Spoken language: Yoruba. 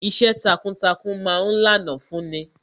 Iṣẹ́ takuntakun ma ń lànà fún ni